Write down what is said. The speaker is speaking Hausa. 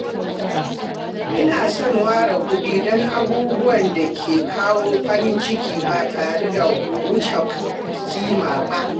Ina son ware kuɗi don abubuwan da ke kawo farin ciki ba tare da wuce kima ba.